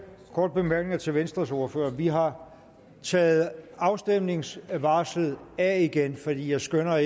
korte bemærkninger til venstres ordfører vi har taget afstemningsvarslet af igen fordi jeg skønner